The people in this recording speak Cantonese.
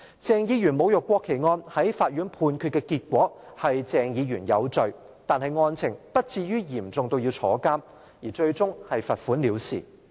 鄭議員侮辱國旗案在法院判決的結果是鄭議員有罪，但案情不至於嚴重至入獄，最終是罰款了事。